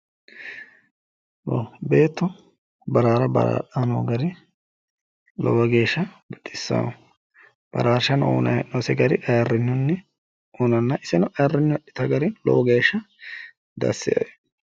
Beetto baraara baraadhayi noo gari lowo geeshsha baxissayo. Baraarshano uyinayi he'nooyise gari ayirrinyunni uyinanna iseno ayirrinyuyi adhata gari lowo geeshsha dassi yaa!